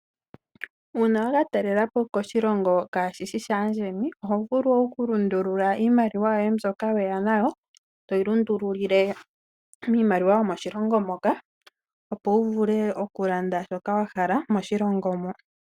Uuna wa ka talelapo koshilongo kashi shi shaandjeni , oho vulu okulundula iimaliwa mbyoka weya nayo , toyi lundululile miimaliwa yomoshilongo moka, opo wu vule okulanda shoka wa hala moshilongo mo.